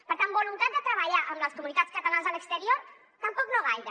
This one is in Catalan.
per tant voluntat de treballar amb les comunitats catalanes a l’exterior tampoc no gaire